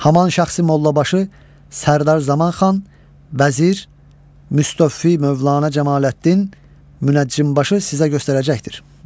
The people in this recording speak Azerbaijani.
Həman şəxsi mollabaşı Sərdar Zamanxan, vəzir, müstofi mövlana Cəmaləddin, münəccimbaşı sizə göstərəcəkdir.